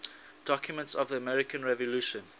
documents of the american revolution